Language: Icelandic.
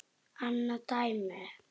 Annað dæmi